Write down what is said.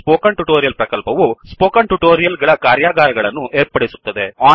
spoken tutorial ಪ್ರಕಲ್ಪವು spoken tutorial ಗಳ ಕಾರ್ಯಾಗಾರಗಳನ್ನು ಏರ್ಪಡಿಸುತ್ತದೆ